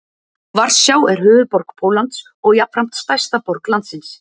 Varsjá er höfuðborg Póllands og jafnframt stærsta borg landsins.